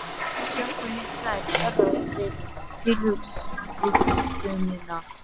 Hjarta mitt slær örar við tilhugsunina.